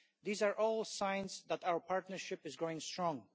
These are all signs that our partnership is going strong.